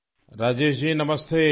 Rajesh ji نمستے